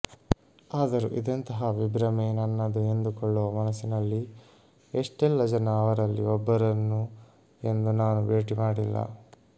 ಆದರು ಇದೆಂತಹ ವಿಭ್ರಮೆ ನನ್ನದು ಎಂದುಕೊಳ್ಳುವ ಮನಸಿನಲ್ಲಿ ಎಷ್ಟೆಲ್ಲ ಜನ ಅವರಲ್ಲಿ ಒಬ್ಬರನ್ನು ಎಂದು ನಾನು ಬೇಟಿ ಮಾಡಿಲ್ಲ